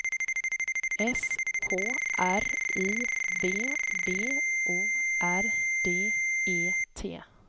S K R I V B O R D E T